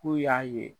K'u y'a ye